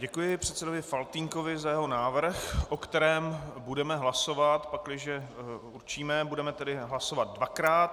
Děkuji předsedovi Faltýnkovi za jeho návrh, o kterém budeme hlasovat, pakliže určíme, budeme tedy hlasovat dvakrát.